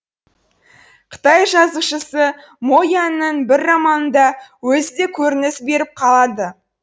қытай жазушысы мо яньның бір романында өзі де көрініс беріп қалады